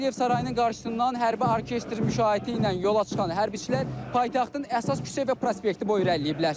Heydər Əliyev sarayının qarşısından hərbi orkestr müşayiəti ilə yola çıxan hərbiçilər paytaxtın əsas küçə və prospekti boyu irəliləyiblər.